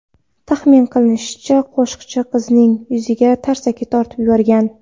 Taxmin qilinishicha, qo‘shiqchi qizning yuziga tarsaki tortib yuborgan.